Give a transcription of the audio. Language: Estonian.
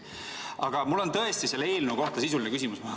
Aga mul on tõesti selle eelnõu kohta sisuline küsimus.